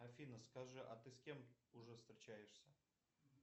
афина скажи а ты с кем уже встречаешься